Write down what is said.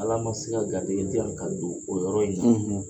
Ala ma se ka garijigɛ di yan ka don o yɔrɔ in na,